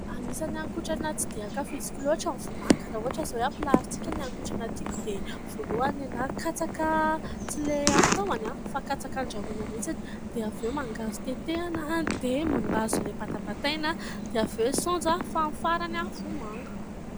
Anisan'ny haninkotrana tsy dia ankafiziko loatra ny vomanga. Raha ohatra izao hoe hampilaharintsika ny haninkotrana tiako dia ny voalohany ny ahy katsaka tsy ilay amin'ny tahony fa katsaka handrahoina mihitsiny, dia avy eo mangahazo tetehina, dia mangahazo ilay batabataina, dia avy eo saonjo, fa ny farany vomanga.